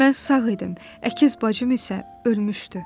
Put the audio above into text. Mən sağ idim, əkiz bacım isə ölmüşdü.